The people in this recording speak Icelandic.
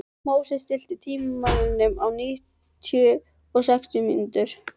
Móses, stilltu tímamælinn á níutíu og sex mínútur.